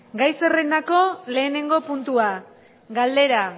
gai zerrendako lehenengo puntua galdera